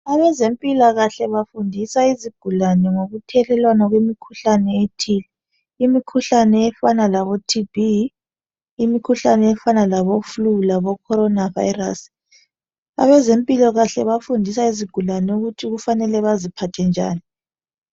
Abezempilakahle bafundisa izigulane ngokuthelelwana kwemikhuhlane ethile, imikhuhlane efana labo TB imikhuhlane fana labo flu, labo Corona Virus. Abezempilakhle bafundisa izigulane ukuthi kufanele baziphathe njani